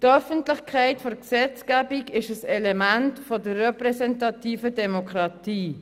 Die Öffentlichkeit der Gesetzgebung ist ein Element der repräsentativen Demokratie.